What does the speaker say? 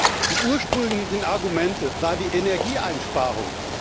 Das ursprüngliche Argument war die Energieeinsparung.